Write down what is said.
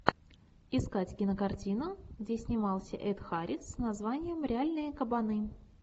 искать кинокартину где снимался эд харрис с названием реальные кабаны